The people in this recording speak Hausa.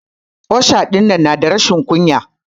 Osha dinnan na da rashin kunya.